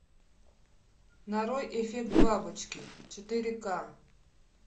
нарой эффект бабочки четыре к